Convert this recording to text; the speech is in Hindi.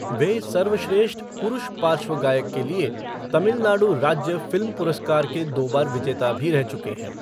वे सर्वश्रेष्ठ पुरुष पार्श्व गायक के लिए तमिलनाडु राज्य फ़िल्म पुरस्कार के दो बार विजेता भी रह चुके हैं।